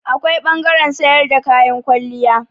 Akwai ɓangaren sayar da kayan kwalliya.